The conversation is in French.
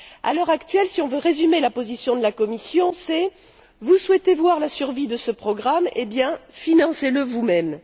À l'heure actuelle, si l'on veut résumer la position de la Commission, c'est Vous souhaitez voir la survie de ce programme, financez le vous mêmes..